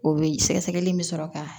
O be sɛgɛsɛgɛli in be sɔrɔ kaa